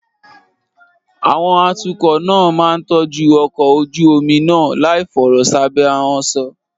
Àwọn atukọ̀ náà máa ń tọ́jú ọkọ̀ ojú omi náà láìfọ̀rọ̀ sábẹ́ ahọ́n sọ.